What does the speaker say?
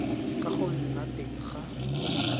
ka go nna teng ga